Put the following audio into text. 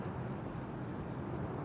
O yola gedə bilərsiz də.